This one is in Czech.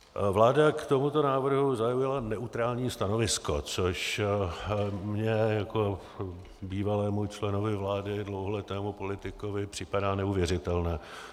Vláda k tomuto návrhu zaujala neutrální stanovisko, což mně jako bývalému členovi vlády, dlouholetému politikovi připadá neuvěřitelné.